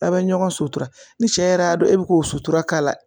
Aw bɛ ɲɔgɔn sutura ni cɛ yɛrɛ y'a dɔn e bɛ k'o sutura k'a la